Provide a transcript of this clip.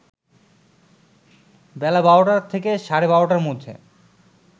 বেলা ১২টা থেকে সাড়ে ১২টার মধ্যে